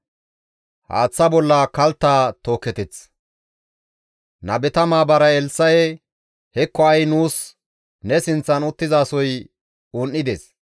Nabeta maabaray Elssa7e, «Hekko ha7i nuus ne sinththan uttizasoy un7ides;